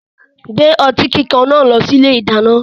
Gbé ọtí kíkan náà lọ sí ilé-ìdáná.